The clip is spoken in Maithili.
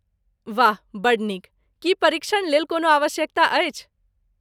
वाह बड्ड नीक ! की परिक्षण लेल कोनो आवश्यकता अछि?